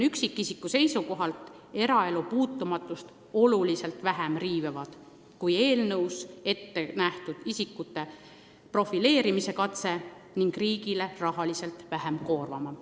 Need riivavad eraelu puutumatust märksa vähem kui eelnõus ette nähtud isikute profileerimine ning riigile oleks see rahaliselt vähem koormav.